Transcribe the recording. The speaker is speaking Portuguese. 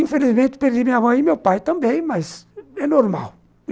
Infelizmente, perdi minha mãe e meu pai também, mas é normal.